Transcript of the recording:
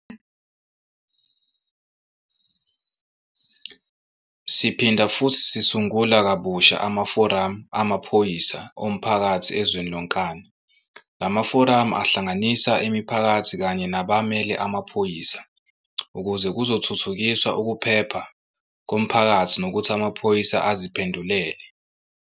Siphinda futhi sisungula kabusha amaforamu amaphoyisa omphakathi ezweni lonkana. La maforamu ahlanganisa imiphakathi kanye nabamele amaphoyisa ukuze kuzothuthukiswa ukuphepha komphakathi nokuthi amaphoyisa aziphendulele.